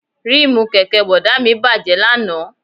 Ríìmù kẹ̀kẹ́ Bọ̀dá mi bàjẹ́ lánàá